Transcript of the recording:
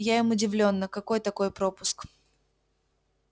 я им удивлённо какой такой пропуск